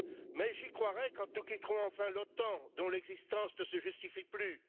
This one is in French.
Mais j'y croirai quand nous quitterons enfin l'OTAN, dont l'existence ne se justifie plus.